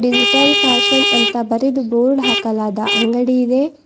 Digital fashion ಅಂತ ಬರೆದು board ಹಾಕಲಾದ ಅಂಗಡಿ ಇದೆ.